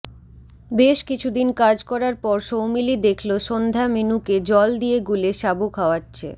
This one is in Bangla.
বেশ কিছুদিন কাজ করার পর সৌমিলি দেখলো সন্ধ্যা মিনুকে জল দিয়ে গুলে সাবু খাওয়াচ্ছে